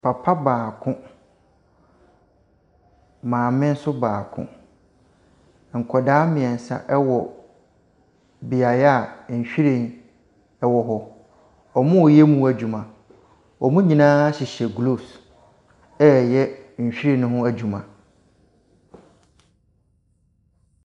Papa baako, maame nso baako, nkwadaa mmiɛnsa ɛwɔ beaeɛ a nhyiren ɛwɔ hɔ. Wɔreyɛ ho adwuma. Wɔn nyinaa hyehyɛ gloves ɛreyɛ nhyiren no ho adwuma.